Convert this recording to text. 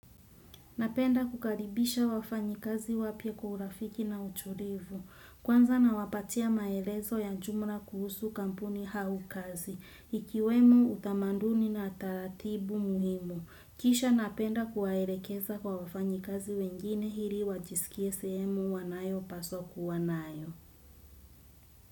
Napenda kukaribisha wafanyikazi wapya kwa urafiki na utulivu. Kwanza nawapatia maelezo ya jumla kuhusu kampuni au kazi. Ikiwemo utamaduni na taratibu muhimu. Kisha napenda kuwaelekeza kwa wafanyi kazi wengine ili wajisikie sehemu wanayopaswa kuwa nayo.